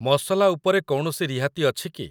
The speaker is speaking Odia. ମସଲା ଉପରେ କୌଣସି ରିହାତି ଅଛି କି?